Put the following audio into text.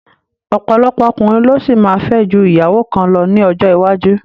Ọ̀pọ̀lọpọ̀ ọkùnrin ló ṣì máa fẹ́ ju ìyàwó kan lọ ní ọjọ́ iwájú